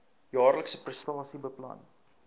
jaarlikse prestasie plan